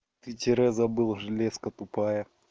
ты тире забыл железка тупая